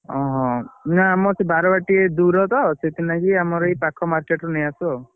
ଓଃ ନାଇଁ ଆମର ସେ ବାରବାଟୀ ଟା ଦୂରତ ସେଥିନା କି ଆମର ଏ ପାଖ market ରୁ ନେଉଆସୁ ଆଉ।